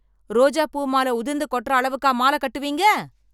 ரோஜா பூ மாலை உதிர்ந்து கொற்ற அளவுக்கு மாலை கட்டுவிங்க